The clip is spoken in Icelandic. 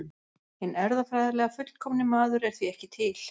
Hinn erfðafræðilega fullkomni maður er því ekki til.